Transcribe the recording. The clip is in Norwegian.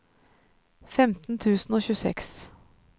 femten tusen og tjueseks